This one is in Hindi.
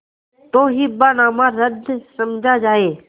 तो हिब्बानामा रद्द समझा जाय